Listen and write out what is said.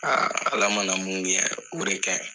Aa ala ma mun kɛ o de kaɲi